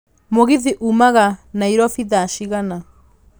mũgithi ũmaga nairobi thaa cigana